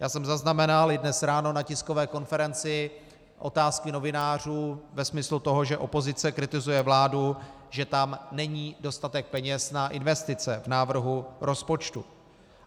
Já jsem zaznamenal i dnes ráno na tiskové konferenci otázky novinářů ve smyslu toho, že opozice kritizuje vládu, že tam není dostatek peněz na investice v návrhu rozpočtu.